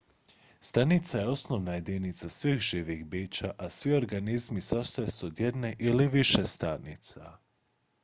stanica je osnovna jedinica svih živih bića a svi organizmi sastoje se od jedne ili više stanica